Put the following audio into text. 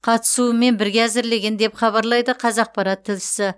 қатысуымен бірге әзірлеген деп хабарлайды қазақпарат тілшісі